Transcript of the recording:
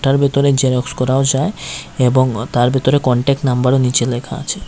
এটার ভেতরে জেরক্স করাও যায় এবং তার ভিতরে কন্টাক্ট নাম্বারও নীচে লেখা আছে।